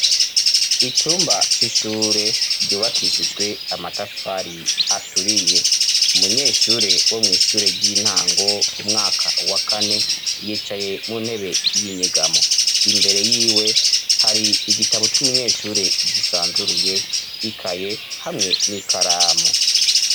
Icumba c'ishure ryubakishijwe amatafari aturiye ,umunyeshure wo mw' ishure ry'intango umwaka wa kane, yicaye mu ntebe y'inyegamo imbere yiwe, hari igitabo c'umunyeshure gisanzuruye ikaye hamwe n'ikaramu.